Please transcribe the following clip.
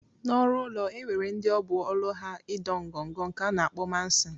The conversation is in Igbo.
Na ọrụ ụlọ enwere ndi ọbụ ọlụ ha ido ngọngọ nke ana akpọ mason.